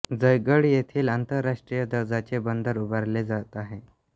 जयगड येथेही आंतरराष्ट्रीय दर्जाचे बंदर उभारले जात आहे